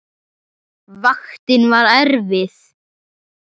Vaktin var erfið.